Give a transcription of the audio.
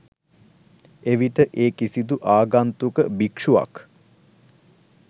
එවිට ඒ කිසිදු ආගන්තුක භික්ෂුවක්